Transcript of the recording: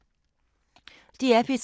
DR P3